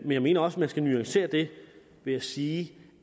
jeg mener også man skal nuancere det ved at sige